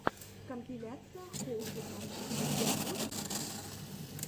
компиляция холдика у тебя будет